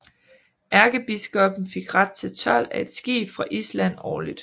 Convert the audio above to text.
Erkebiskoppen fik ret til told af et skib fra Island årligt